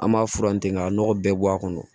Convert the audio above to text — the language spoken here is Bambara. An b'a fura in tigɛ k'a nɔgɔ bɛɛ bɔ a kɔnɔ